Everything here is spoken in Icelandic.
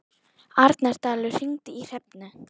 Arnaldur, hringdu í Hrefnu.